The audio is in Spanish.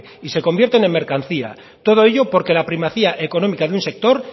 y se convierten en mercancía todo ello porque la primacía económica de un sector